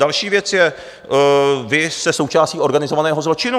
Další věc je, vy jste součástí organizovaného zločinu.